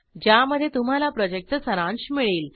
ज्यामध्ये तुम्हाला प्रॉजेक्टचा सारांश मिळेल